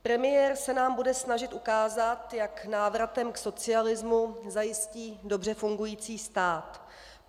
Premiér se nám bude snažit ukázat, jak návratem k socialismu zajistí dobře fungující stát.